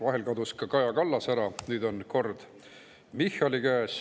Vahel kadus ka Kaja Kallas ära, nüüd on käes Michali kord.